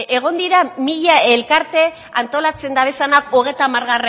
egon dira mila elkarte antolatzen dabezanak hogeita hamargarrena